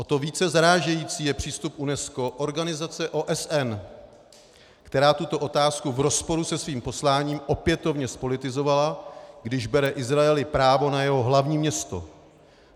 O to více zarážející je přístup UNESCO, organizace OSN, která tuto otázku v rozporu se svým posláním opětovně zpolitizovala, když bere Izraeli právo na jeho hlavní město.